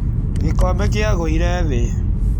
Gĩkombe kĩagũire thĩ.